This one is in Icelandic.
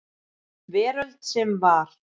Veröld sem var.